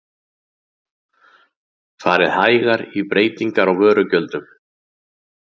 Farið hægar í breytingar á vörugjöldum